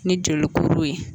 Ni jolikuru ye.